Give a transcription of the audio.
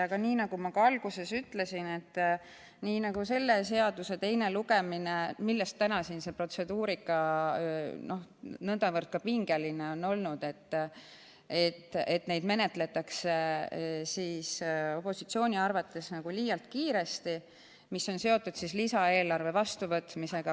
Aga nii nagu ma ka alguses ütlesin, ka selle seaduseelnõu teine lugemine on üks neist, mille tõttu täna see protseduurika siin on olnud nõndavõrd pingeline, sest opositsiooni arvates menetletakse liialt kiiresti neid eelnõusid, mis on seotud lisaeelarve vastuvõtmisega.